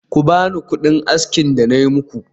Ku bani kudina aski da nayi muku